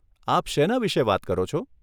આપ શેના વિષે વાત કરો છો?